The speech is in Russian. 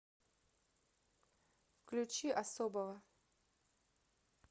включи особова